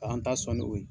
An ta sɔn ni o ye